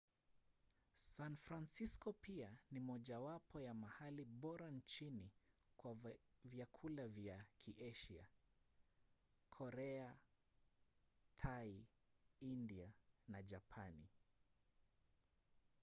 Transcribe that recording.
san francisco pia ni mojawapo ya mahali bora nchini kwa vyakula vya kiasia: korea thai india na japani